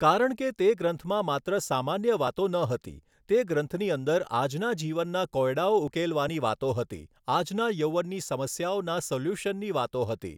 કારણ કે તે ગ્રંથમાં માત્ર સામાન્ય વાતો ન હતી તે ગ્રંથની અંદર આજના જીવનના કોયડાઓ ઉકેલવાની વાતો હતી આજના યૌવનની સમસ્યાઓના સોલ્યુશનની વાતો હતી